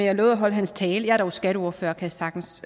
har lovet at holde hans tale jeg er dog skatteordfører og kan sagtens